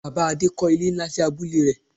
Bàbá Adé kọ́ ilé nlá sí abúlé rẹ̀